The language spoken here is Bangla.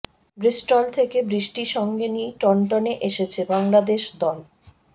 ব্রিস্টল থেকে বৃষ্টি সঙ্গে নিয়েই টন্টনে এসেছে বাংলাদেশ দল